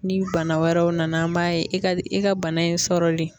Ni bana wɛrɛw nana an b'a ye e ka e ka bana in sɔrɔli